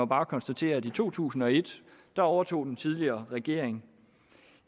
bare konstatere at i to tusind og et overtog den tidligere regering